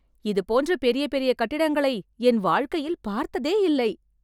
இதுபோன்ற பெரிய பெரிய கட்டிடங்களை என் வாழ்க்கையில் பார்த்ததே இல்லை